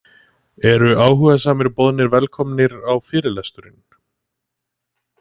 Eru áhugasamir boðnir velkomnir á fyrirlesturinn